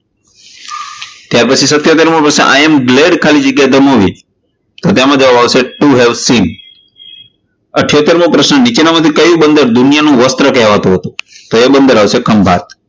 ત્યારપછી સિત્તોટેર મો પ્રશ્ન i am glad ખાલી જગ્યા the movie તો એમાં જવાબ આવશે to have seen ઈથોટર મો પ્રશ્ન નીચેના પૈકી કયું બંદર દુનિયાનું વસ્ત્ર કહેવાતું હતું? તો એ બંદર આવશે ખંભાત.